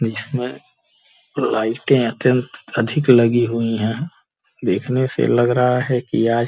इसमें लाइटें अत्यंत अधिक लगी हुई हैं देखने से लग रहा है कि आज --